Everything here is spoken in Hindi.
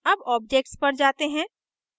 अब objects पर जाते हैं